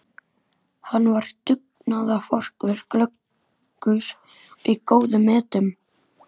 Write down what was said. Hann var dugnaðarforkur, glöggur og í góðum metum.